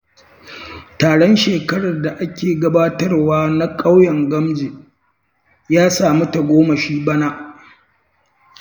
Taron shekara da ake gabatarwa na ƙauyen Gamji ya sami tagomashi bana.